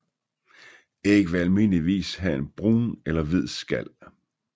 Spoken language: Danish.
Æg vil almindeligvis have brun eller hvid skal